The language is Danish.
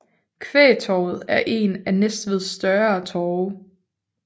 Kvægtorvet er en af Næstveds større torve